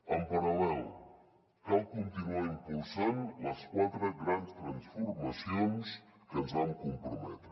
en paral·lel cal continuar impulsant les quatre grans transformacions a què ens vam comprometre